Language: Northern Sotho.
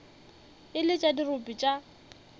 e le tša dirope tša